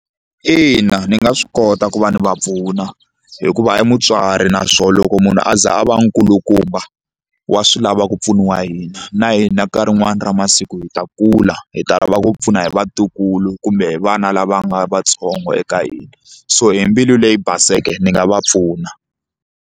Ina ni nga swi kota ku va ni va pfuna hikuva i mutswari naswona loko munhu a za a va nkulukumba wa swi lava ku pfuniwa hi hina na hina nkarhi wun'wani ra masiku hi ta kula hi ta lava ku pfuna hi vatukulu kumbe hi vana lava nga vatsongo eka hina so hi mbilu leyi baseke ni nga va pfuna.